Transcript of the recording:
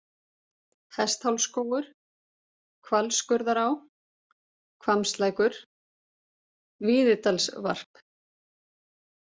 Hesthálsskógur, Hvalskurðará, Hvammslækur, Víðidalsvarp